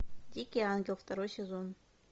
дикий ангел второй сезон